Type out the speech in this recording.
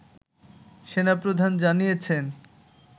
সেনা প্রধান জানিয়েছেন